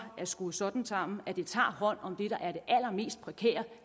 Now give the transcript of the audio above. skruet sådan sammen at det tager hånd om det der er det allermest prekære